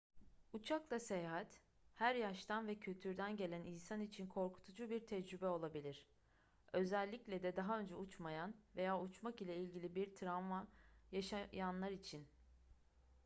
uçakla seyahat her yaştan ve kültürden gelen insan için korkutucu bir tecrübe olabilir özellikle de daha önce uçmayan veya uçmak ile ilgili bir travma yaşayanlar için